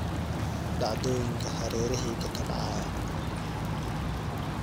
dhacdooyinka hareerahayga ka dhacaya